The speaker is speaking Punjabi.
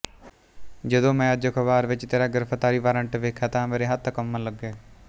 ਜਦੋਂ ਮੈਂ ਅੱਜ ਅਖਬਾਰ ਵਿੱਚ ਤੇਰਾ ਗਿਰਫਤਾਰੀ ਵਾਰੰਟ ਵੇਖਿਆ ਤਾਂ ਮੇਰੇ ਹੱਥ ਕੰਬਣ ਲੱਗੇ